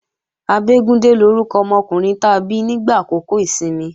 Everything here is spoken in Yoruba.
Abégúndé lórúkọ ọmọkùnrin ta bí nígbà àkókò ìsinmi